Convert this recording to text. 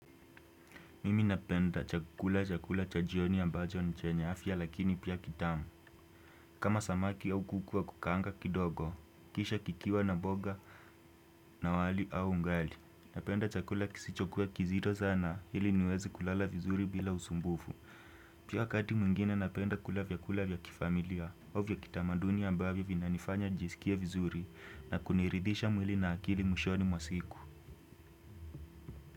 Mimi napenda kula chakula cha jioni ambacho ni chenye afya lakini pia kitamu. Kama samaki au kuku wa kukaanga kidogo, kisha kikiwa na mboga na wali au ugali. Napenda chakula kisichokua kizito sana ili niwezi kulala vizuri bila usumbufu. Pia kati mwingine napenda kula vyakula vya kifamilia. Au vya kitamaduni ambavyo vinanifanya jisikie vizuri na kuniridhisha mwili na akili mwishoni mwa siku.